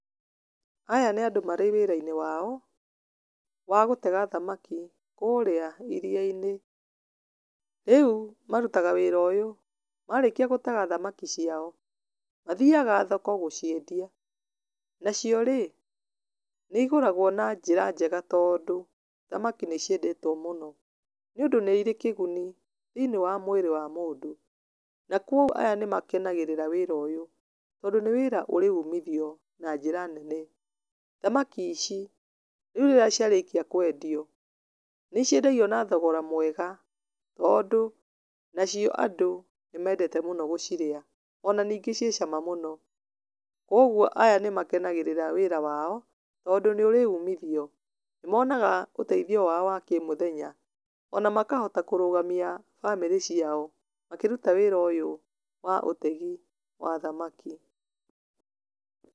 Aya nĩ andũ marĩ wĩra-inĩ wao, wa gũtega thamaki kũrĩa iriya-inĩ, rĩu marutaga wĩra ũyũ, marĩkia gũtega thamaki ciao, mathiaga thoko gũciendia, nacio-rĩ, nĩ igũragwo na njĩra njega, tondũ thamaki nĩ ciendetwo mũno, nĩ ũndũ nĩ irĩ kĩguni thĩiniĩ wa mwĩrĩ wa mũndũ, na kwoguo aya nĩ makenagĩrĩra wĩra ũyũ, tondũ nĩ wĩra ũrĩ umithio na njĩra nene, thamaki ici rĩu rĩrĩa cia rĩkio kwendio, nĩ ciendagĩo na thogora mwega, tondũ nacio andũ nĩ mendete mũno gũciria, ona ningĩ ciĩ cama mũno, kwoguo aya nĩ makenagĩrĩra wĩra wao, tondũ nĩ ũrĩ umithio, nĩ monaga ũteithio wao wakĩmũthenya, ona makahota kũrũgamia bamĩrĩ ciao, makĩruta wĩra ũyũ wa ũtegi wa thamaki.